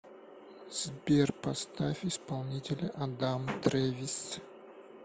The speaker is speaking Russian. сбер поставь исполнителя адам трэвис